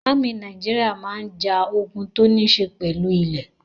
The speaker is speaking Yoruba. Ámì Nàìjíríà máa ń ja ogun tó níṣe pẹ̀lú ilẹ́.